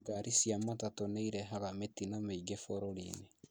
Ngari cia matatu nĩirehaga mĩtino mĩingĩ bũrũri-inĩ